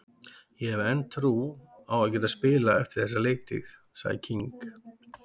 Ég hef enn trú á að geta spilað eftir þessa leiktíð, sagði King.